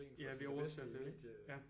Ja vi overser lidt ja